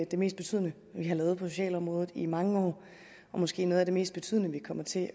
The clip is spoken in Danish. det mest betydende vi har lavet på socialområdet i mange år og måske noget af det mest betydende vi kommer til